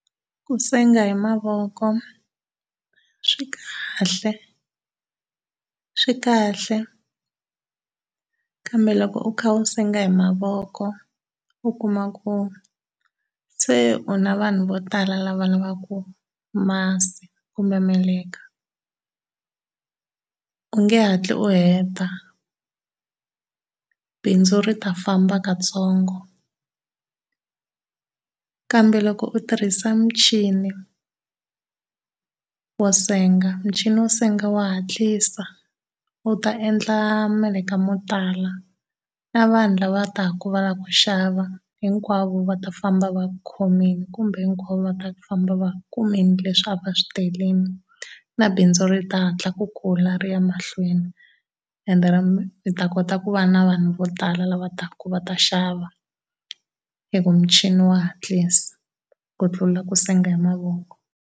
Ku senga hi mavoko swi kahle swi kahle kambe loko u kha u senga hi mavoko u kuma ku se u na vanhu vo tala lava lavaka masi kumbe meleka, u nge hatli u heta, bindzu ri ta famba katsongo. Kambe loko u tirhisa muchini, wo senga muchini wo senga wa hatlisa wu ta endla meleka mo tala. Na vanhu lava taka va lava ku xava hinkwavo va ta famba va khomile kumbe hinkwavo va ta famba va kumile leswi a va swi telile na bindzu ri ta hatla ku kula ri ya emahlweni ende mi ta kota ku va na vanhu vo tala lava taka va ta xava hi ku muchini wa hatlisa ku tlula ku senga hi mavoko.